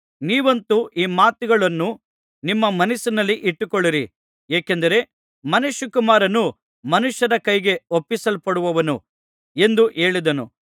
ನೀವಂತೂ ಈ ಮಾತುಗಳನ್ನು ನಿಮ್ಮ ಮನಸ್ಸಿನಲ್ಲಿ ಇಟ್ಟುಕೊಳ್ಳಿರಿ ಏಕೆಂದರೆ ಮನುಷ್ಯಕುಮಾರನು ಮನುಷ್ಯರ ಕೈಗೆ ಒಪ್ಪಿಸಲ್ಪಡುವನು ಎಂದು ಹೇಳಿದನು